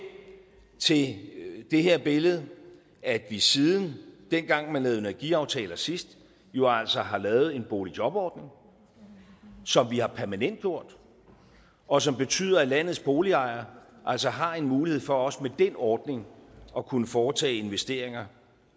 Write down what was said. til det det her billede at vi siden dengang vi lavede energiaftaler sidst jo altså har lavet en boligjobordning som vi har permanentgjort og som betyder at landets boligejere altså har en mulighed for også med den ordning at kunne foretage investeringer